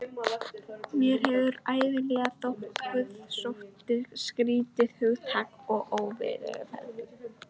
Mér hefur ævinlega þótt guðsótti skrýtið hugtak og óviðfelldið.